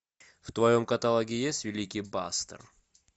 в твоем каталоге есть великий пастор